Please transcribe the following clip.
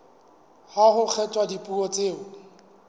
ha ho kgethwa dipuo tseo